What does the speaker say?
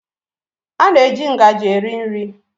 A na-eji ngaji eri nri.